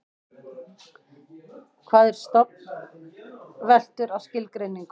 hvað er stofn veltur á skilgreiningu okkar